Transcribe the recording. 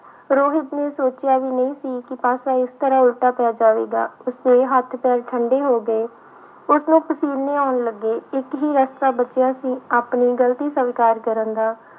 ਰੋਹਿਤ ਨੇ ਸੋਚਿਆ ਵੀ ਨਹੀਂ ਸੀ ਕਿ ਪਾਸਾ ਇਸ ਤਰ੍ਹਾਂ ਉਲਟਾ ਪੈ ਜਾਵੇਗਾ, ਉਸਦੇ ਹੱਥ ਪੈਰ ਠੰਢੇ ਹੋ ਗਏ, ਉਸਨੂੰ ਪਸੀਨੇ ਆਉਣ ਲੱਗੇ, ਇੱਕ ਹੀ ਰਸਤਾ ਬਚਿਆ ਸੀ ਆਪਣੀ ਗ਼ਲਤੀ ਸਵਿਕਾਰ ਕਰਨ ਦਾ।